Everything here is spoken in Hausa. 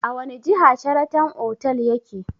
A wani jiha Sharatan otal yake?